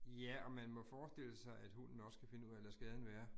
Ja, og man må forestille sig, at hunden også kan finde ud af at lade skaden være